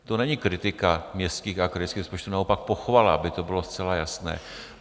To není kritika městských a krajských rozpočtů, naopak pochvala, aby to bylo zcela jasné.